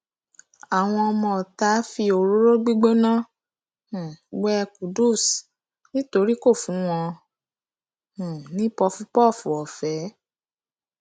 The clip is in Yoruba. àwọn ọmọọta fi òróró gbígbóná um wé qudus nítorí kò fún wọn um ní pọfúpọọfù ọfẹ